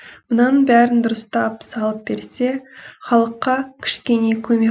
мынаның бәрін дұрыстап салып берсе халыққа кішкене көмек